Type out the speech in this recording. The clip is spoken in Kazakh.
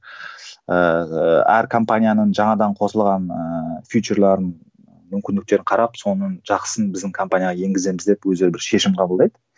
ыыы әр компанияның жаңадан қосылған ыыы мүмкіндіктерін қарап соның жақсысын біздің компанияға енгіземіз деп өздері бір шешім қабылдайды